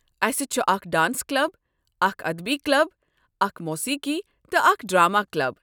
اسہ چھ اکھ ڈانس کلب، اکھ ادبی کلب، اکھ موسیقی تہٕ اکھ ڈرٛامہ کلب۔